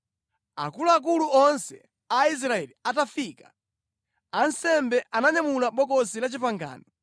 Akuluakulu onse a Israeli atafika, ansembe ananyamula Bokosi la Chipangano,